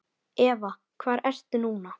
Eva: Hvar ertu núna?